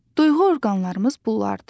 Duyğu orqanlarımız bunlardır: